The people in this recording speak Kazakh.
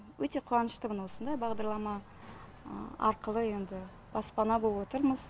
өте қуаныштымын осындай бағдарлама арқылы енді баспана болып отырмыз